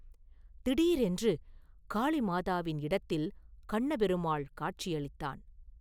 திடீரென்று காளிமாதாவின் இடத்தில் கண்ணபெருமாள் காட்சி அளித்தான்.